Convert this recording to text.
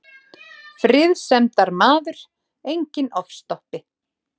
Friðsemdarmaður, enginn ofstopi.